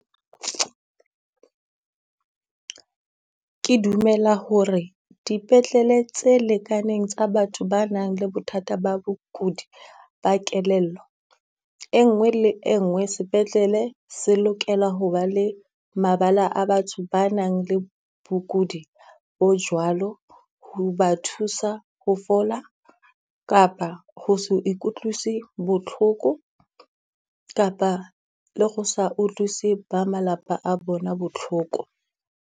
Ke dumela ho re dipetlele tse lekaneng tsa batho ba nang le bothata ba bokudi ba kelello. E nngwe le e nngwe sepetlele se lokela hoba le mabala a batho ba nang le mokudi bo jwalo, ho ba thusa ho fola kapa ho se ukutlisi botlhoko. Kapa le go sa utlwisise ba malapa a bona botlhoko.